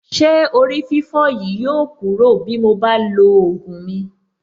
Ṣé orí-fífọ́ yìí yóò kúrò bí mo bá ti lo ògùn mi.